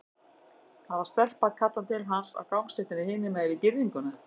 Það var stelpa að kalla til hans á gangstéttinni hinum megin við girðinguna.